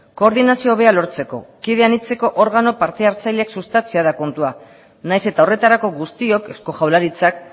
koordinazio hobea lortzeko kide anitzeko organo parte hartzaileak sustatzea da kontua nahiz eta horretarako guztiok eusko jaurlaritzak